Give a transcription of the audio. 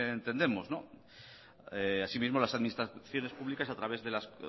entendemos asimismo las administraciones públicas a través de las